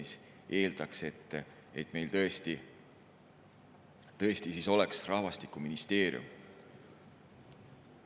See eeldaks, et meil tõesti oleks rahvastikuministeerium.